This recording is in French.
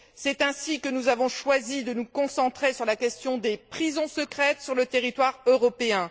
C'est ainsi que nous avons choisi de nous concentrer sur la question des prisons secrètes sur le territoire européen.